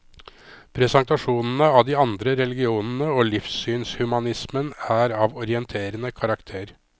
Presentasjonene av de andre religionene og livssynshumanismen er av orienterende karakter.